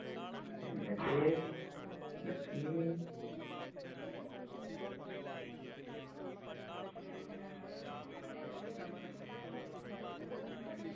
എന്നിട്ട് എന്നിട്ട്